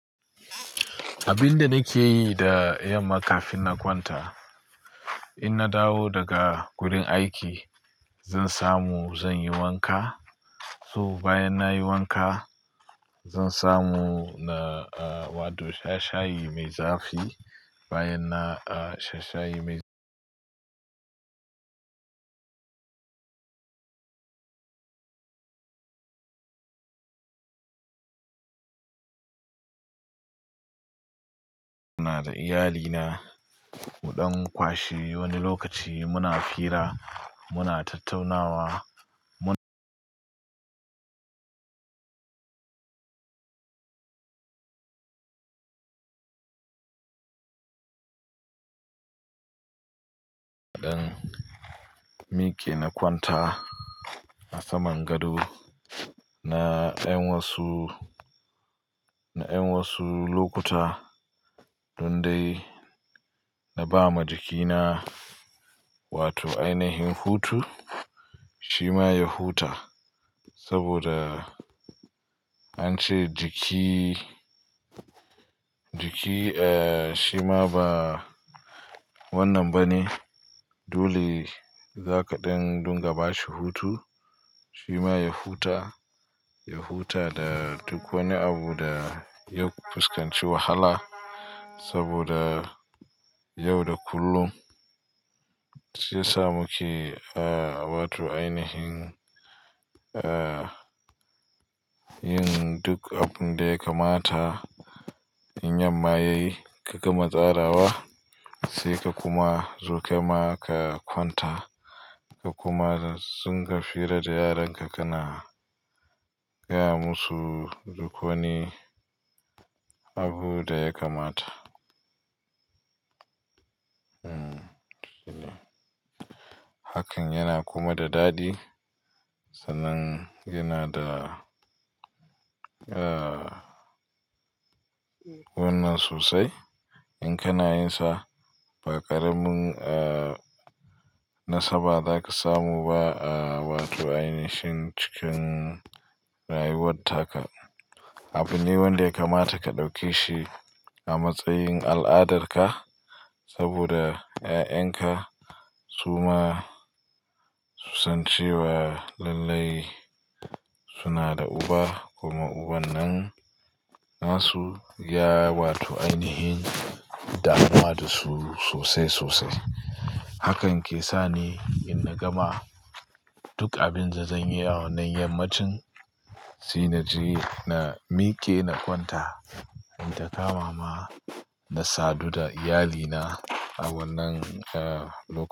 Abin da nake yi da yamma kafin na kwanta, in na dawo daga gurin aiki zan samu zan yi wanka. To bayan na yi wanka zan samu na, a, wato sha shayi mai zafi. Bayan na, a, sha shayi mai muna da iyalina muɗan kwashe wani lokaci muna hira muna tattaunawa mun ɗan miƙe na kwanta a saman gado na ɗan wasu, na ɗan wasu lokuta tun dai na ba ma jikina wato ainihin hutu shima ya huta saboda an ce jiki, jiki, e, shima ba wannan bane dole za ka ɗan dunga bashi hutu shima ya huta, ya huta da duk wani abu da ya fuskanci wahala saboda yau da kullum sai samu ki, a, wato ainihin, e, yin duk abun da ya kamata in yamma yayi ka gama tsarawa sai ka kuma zo kaima ka kwanta ka kuma zunga hira da yaran ka kana gaya masu duk wani abu da ya kamata. Hmm, haka ne. Hakan yana kuma da dadi sanan yana da, a, wannan sosai in kana yin sa ba ƙaramin, a, nasa ba za ka samu ba, a, wato ainihin cikin rayuwar taka. Abu ne wanda ya kamata ka ɗauke shi a matsayin al'adar ka saboda ƴaƴanka su ma su san cewa lallai suna da uba kuma uban nan na su ya wato ainihin damuwa da su sosai sosai. Hakan ke sa ni in na gama duk abin da zan yi a wannan yammacin shi na ji na miƙe na kwanta, ita ka mama na sadu da iyalina a wannan, a, lokaci.